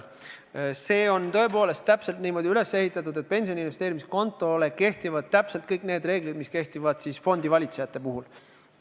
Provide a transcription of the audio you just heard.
See on tõepoolest üles ehitatud täpselt niimoodi, et sellele kehtivad kõik need reeglid, mis kehtivad fondivalitsejate puhul.